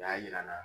O y'a jira n na